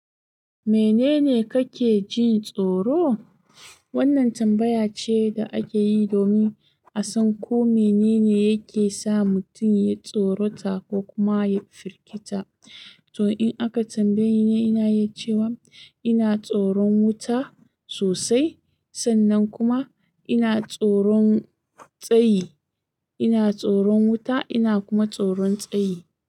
Menene kake jin tsoro? Wannan tambaya ce da ake yi domin a san ko menene yake sa mutum ya tsorata ko kuma ya firgita. To, in aka tambaye ni, ina yi cewa ina tsoron wuta sosai sannan kuma ina tsoron tsayi. Ina tsoron wuta ina kuma tsoron tsayi.